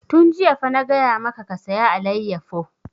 Tun jiya fa na gaya maka ka saya alayyafo!